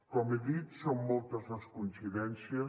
com he dit són moltes les coincidències